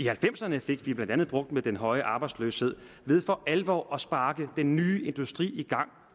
halvfemserne fik vi blandt andet bugt med den høje arbejdsløshed ved for alvor at sparke den nye industri